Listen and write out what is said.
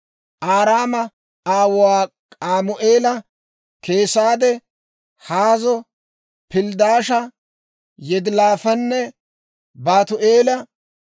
Araama aawuwaa K'amu'eela, Keesade, Haazo, Pilddaasha, Yidilaafanne Baatu'eela.